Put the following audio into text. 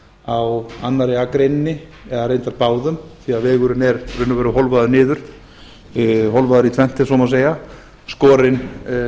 á annarri akreininni eða reyndar báðum því vegurinn er í raun og veru hólfaður niður hólfaður í tvennt ef svo má segja skorinn